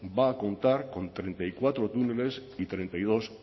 va a contar con treinta y cuatro túneles y treinta y dos